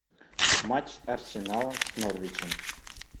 матч арсенала с норвичем